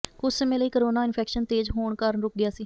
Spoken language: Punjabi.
ਕੁਝ ਸਮੇਂ ਲਈ ਕੋਰੋਨਾ ਇਨਫੈਕਸ਼ਨ ਤੇਜ਼ ਹੋਣ ਕਾਰਨ ਰੁਕ ਗਿਆ ਸੀ